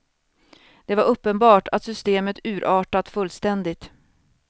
Det var uppenbart att systemet urartat fullständigt.